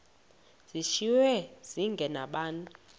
zishiywe zinge nabani